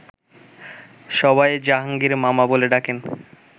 সবাই জাহাঙ্গীর মামা বলে ডাকেন